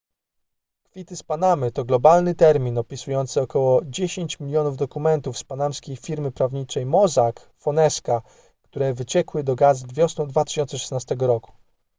kwity z panamy to globalny termin opisujący około dziesięć milionów dokumentów z panamskiej firmy prawniczej mossack fonesca które wyciekły do gazet wiosną 2016 roku